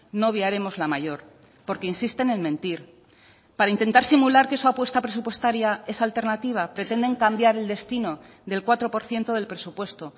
no obviaremos la mayor porque insisten en mentir para intentar simular que su apuesta presupuestaria es alternativa pretenden cambiar el destino del cuatro por ciento del presupuesto